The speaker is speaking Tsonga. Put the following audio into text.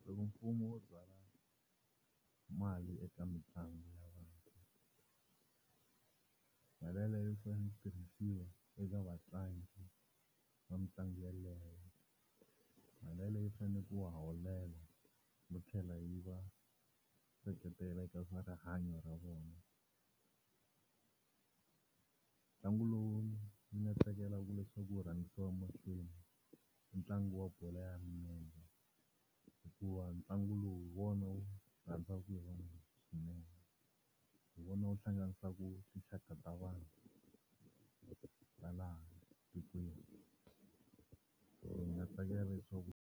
Loko mfumo wu byala mali eka mitlangu ya vantshwa, mali yeleyo yi fanele ku tirhisiwa eka vatlangi va mitlangu yeleyo. Mali yeleyo yi faneleke ku va holela no tlhela yi va seketela eka swa rihanyo ra vona. Ntlangu lowu ni nga tsakelaku leswaku wu rhangisiwa emahlweni i ntlangu wa bolo ya milenge hikuva ntlangu lowu hi wona wu rhandzaka hi vanhu swinene, hi wona wu hlanganisaka tinxaka ta vanhu ta laha tikweni ndzi nga tsakela leswaku.